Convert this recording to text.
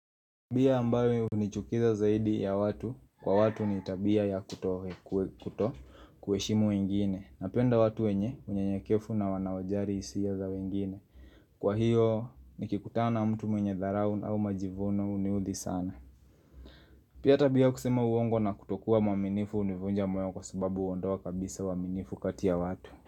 Tabia ambayo hunichukiza zaidi ya watu kwa watu ni tabia ya kuto kueshimu wengine Napenda watu wenye unyanyakevu na wanawajari isia za wengine Kwa hiyo ni kikutana mtu mwenye dharau au majivuno huniuthi sana Pia tabia kusema uongo na kutokuwa mwaminifu univunja moyo kwa sababu huondoa kabisa uaminifu kati ya watu.